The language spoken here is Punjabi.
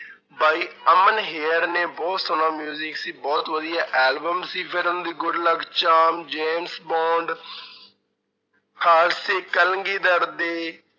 ਬਾਈ ਅਮਨ ਹੇਅਰ ਨੇ ਬਹੁਤ ਸੋਹਣਾ industry ਸੀ ਬਹੁਤ ਵਧੀਆ album ਸੀ ਫਿਰ ਉਹਨਾਂ ਦੀ ਗੁਡਲਕ, ਚਾਰਮ, ਜੇਮਸਬੋਂਡ ਖ਼ਾਲਸੇ ਕਲਗੀਧਰ ਦੇ